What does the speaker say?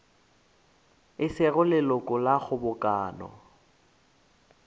e sego leloko la kgobokano